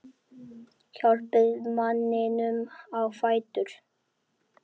Hjálpið manninum á fætur.